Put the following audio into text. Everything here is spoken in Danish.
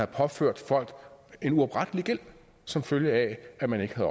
påført folk en uoprettelig gæld som følge af at man ikke